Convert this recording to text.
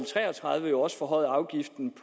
tre og tredive også forhøjet afgiften